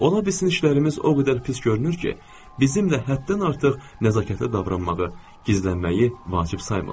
Ola bilsin işlərimiz o qədər pis görünür ki, bizimlə həddən artıq nəzakətli davranmağı, gizlənməyi vacib saymırlar.